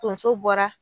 Tonso bɔra